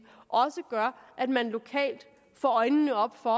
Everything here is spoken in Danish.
også gør at man lokalt får øjnene op for